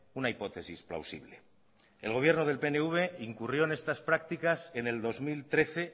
una hipótesis plausible el gobierno del pnv incurrió en estas prácticas en el dos mil trece